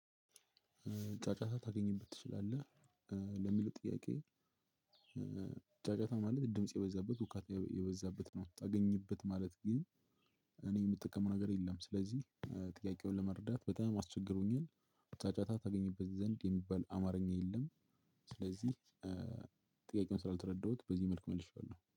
ጫጫታ ታገኝበት ትችላለህ ለሚሉት ጥያቄ ጫጫታ ማለት ድምጽ የበዛበት ውካታ የበዛበት ነው። ታገኝበት ማለት ግን እኔ የምጠቀመው ነገር የለም። ስለዚህ ጥያቄውን ለመረዳት በጣም አስቸግሮኛል። ጫጫታ ታገኝበት ዘንድ የሚባል አማርኛ የለም። ስለዚህ ጥያቄውን ስላልተረዳሁት በዚህ መልኩ መልሼዋለሁው